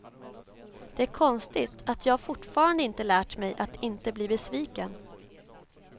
Det är konstigt att jag fortfarande inte lärt mig att inte bli besviken.